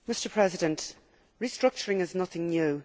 Mr President, restructuring is nothing new